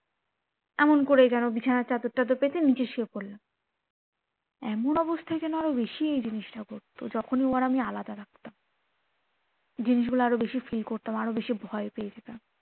এমন করে যেন বিছানার চাদর টাদর পেতে নিচে শুয়ে পড়লাম এমন অবস্থায় যেন আরো বেশি এই জিনিসটা হতো যখনি ও আর আমি আলাদা থাকতাম জিনিস গুলো আরো বেশি feel করতাম ভয় পেয়ে যেতাম